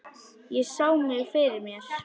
Ég sá mig fyrir mér.